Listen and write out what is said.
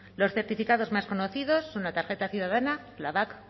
los certificados más conocidas en la tarjeta ciudadana la bak